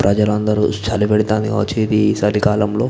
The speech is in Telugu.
ప్రజ లందరూ చలి పెడుతుంది. ఇది చలికాలంలో --